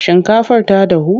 Shinkafar ta dahu?